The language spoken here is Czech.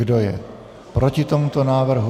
Kdo je proti tomuto návrhu?